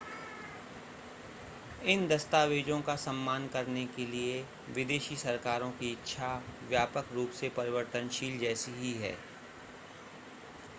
इन दस्तावेज़ों का सम्मान करने के लिए विदेशी सरकारों की इच्छा व्यापक रूप से परिवर्तशील जैसी ही है